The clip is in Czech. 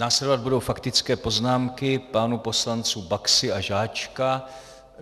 Následovat budou faktické poznámky pánů poslanců Baxy a Žáčka.